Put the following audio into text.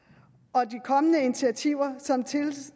og de kommende initiativer som